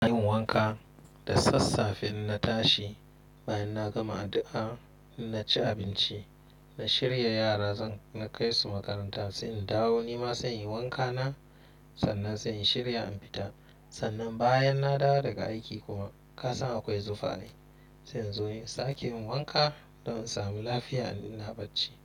Na yi wanka da sassafe na tashi, bayan na gama addu'a na ci abinci. Na shirya yara zan kai su makaranta sai in dawo. Ni ma zan yi wanka nan, sannan zan shirya in fita. Sannan bayan na dawo daga aiki kuma ka san akwai zufa ne, zan zo in sake yin wanka don in sami lafiya ina bacci.